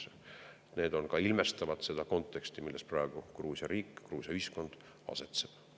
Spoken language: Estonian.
Need ilmestavad seda konteksti, milles praegu Gruusia riik, Gruusia ühiskond asetseb.